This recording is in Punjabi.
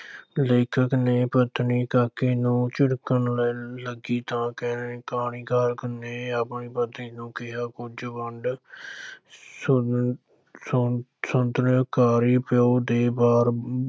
ਲੇਖਕ ਨੇ ਪਤਨੀ ਕਾਕੇ ਨੂੰ ਝਿੜਕਣ ਲ ਲੱਗੀ ਤਾਂ ਕਹ ਕਹਾਣੀਕਾਰ ਨੇ ਆਪਣੀ ਪਤਨੀ ਨੂੰ ਕਿਹਾ, ਕੁਝ ਵੰਡ ਸ਼ੁ ਸ਼ੁ ਸ਼ੁਦੈਣੇ ਕਾਇਰ ਪਿਉ ਦੇ ਘਰ